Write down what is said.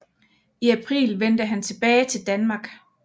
I april vendte han tilbage til Danmark